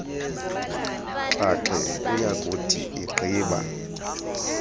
xhaxhe uyakuthi egqiba